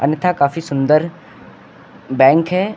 तथा काफी सुंदर बैंक है।